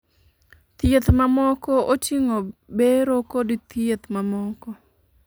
thieth mamoko oting'o bero kod thieth mamoko